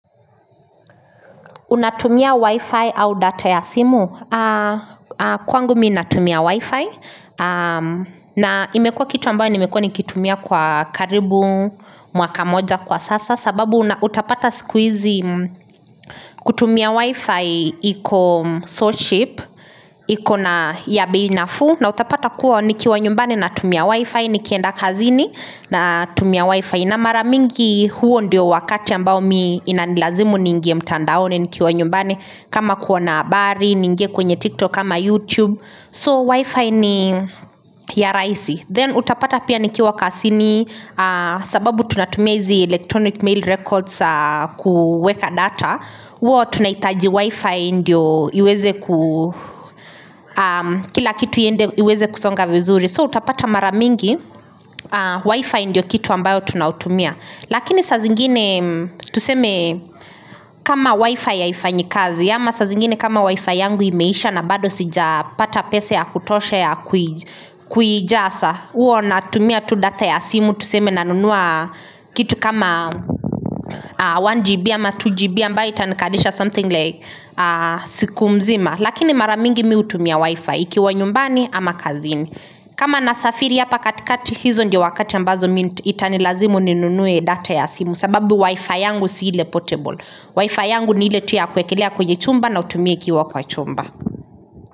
Unatumia wi-fi au data ya simu. Kwangu minatumia wi-fi. Na imekua kitu ambayo nimekua nikitumia kwa karibu, mwaka moja kwa sasa sababu utapata siku hizi kutumia wi-fi iko so cheap, iko na bei nafu na utapata kuwa nikiwa nyumbani na tumia wi-fi, nikienda kazini na tumia wi-fi. Na maramingi huo ndiyo wakati ambao mi inanilazimu niingie mtandaoni nikiwa nyumbani kama kuona habari, niinge kwenye tiktok ama youtube So wifi ni ya raisi Then utapata pia nikiwa kazini sababu tunatumia hizi electronic mail records kueka data Huwa tunahitaji wifi ndiyo iweze kusonga vizuri So utapata maramingi wifi ndiyo kitu ambayo tunautumia Lakini sa zingine tuseme kama wifi haifanyi kazi ama saa zingine kama wifi yangu imeisha na bado sijapata pesa ya kutosha ya kuijaza huwa natumia tu data ya simu tuseme na nunua kitu kama 1GB ama 2GB ambayo itanikalisha something like siku mzima Lakini maramingi mi hutumia wifi ikiwa nyumbani ama kazini kama na safiri hapa katikati hizo ndio wakati ambazo itanilazimu ninunue data ya simu sababu wifi yangu siile portable wifi yangu niile tu ya kuekelea kwenye chumba na uitumie ikiwa kwa chumba.